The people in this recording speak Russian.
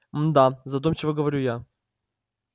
да задумчиво говорю я